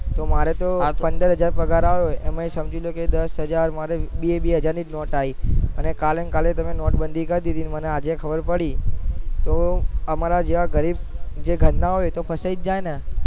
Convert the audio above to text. તો મારે તો પંદર હજાર પગાર આવ્યો એમાં થી સમજો કે મારે દસ હજાર માં બે બે હજાર ની જ નોટો આવી તો કાલે કાલે તમે નોટ બાંધી કરી દીધીતો મને આજ ખબર પડી તો અમાર જેવા ગરીબ ઘર ના હોય એતો ફસાઈ જાય ને